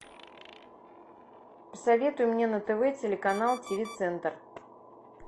посоветуй мне на тв телеканал тиви центр